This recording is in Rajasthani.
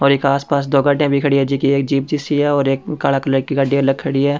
और एक आसपास दो गाड़ियां भी खड़ी है जिकी एक जिप्सी है और एक काला कलर की गाडी अलग खड़ी है।